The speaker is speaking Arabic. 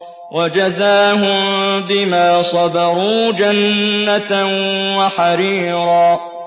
وَجَزَاهُم بِمَا صَبَرُوا جَنَّةً وَحَرِيرًا